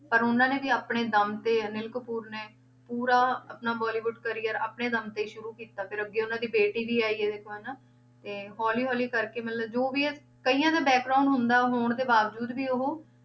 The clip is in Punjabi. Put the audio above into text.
ਪਰ ਉਹਨਾਂ ਨੇ ਵੀ ਆਪਣੇ ਦਮ ਤੇ ਅਨਿਲ ਕਪੂਰ ਨੇ ਪੂਰਾ ਆਪਣਾ ਬੋਲੀਵੁਡ career ਆਪਣੇ ਦਮ ਤੇ ਹੀ ਸ਼ੁਰੂ ਕੀਤਾ, ਫਿਰ ਅੱਗੇ ਉਹਨਾਂ ਦੀ ਬੇਟੀ ਵੀ ਆਈ ਹੈ ਦੇਖੋ ਹਨਾ, ਤੇ ਹੌਲੀ ਹੌਲੀ ਕਰਕੇ ਮਤਲਬ ਜੋ ਵੀ ਹੈ ਕਈਆਂ ਦਾ ਹੁੰਦਾ ਹੋਣ ਦੇ ਬਾਵਜੂਦ ਵੀ ਉਹ